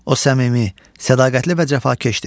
O səmimi, sədaqətli və cəfakeşdir.